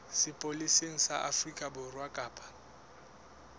sepolesa sa afrika borwa kapa